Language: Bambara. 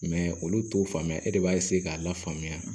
olu t'o faamuya e de b'a k'a lafaamuya